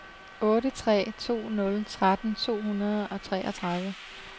otte tre to nul tretten to hundrede og treogtredive